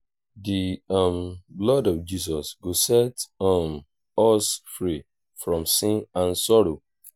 i wan preach in front of our village square tomorrow